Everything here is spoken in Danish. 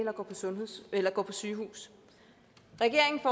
eller kommer på sygehus regeringen